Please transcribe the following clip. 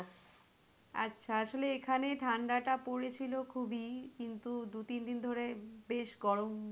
আচ্ছা আসলে এখানে ঠাণ্ডা টা পড়েছিলো খুবই কিন্তু দু তিন দিন ধরে বেশ গরম,